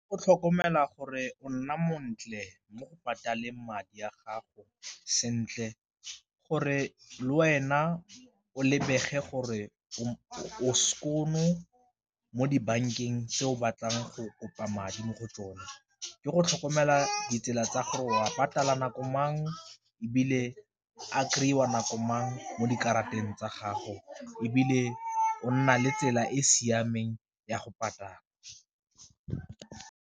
O tlhokomela gore o nna montle mo go patala madi a gago sentle gore le wena o lebege gore o skoon-o mo dibankeng tse o batlang go kopa madi mo go tsona, ke go tlhokomela ditsela tsa gore o a nako mangwe ebile a kry-iwa nako mang mo dikarateng tsa gago, ebile o nna le tsela e e siameng ya go .